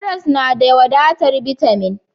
Karas na da wadatar bitamin.